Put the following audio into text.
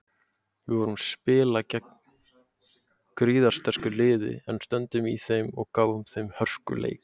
Við vorum spila gegn gríðarsterku liði en stöndum í þeim og gáfum þeim hörkuleik.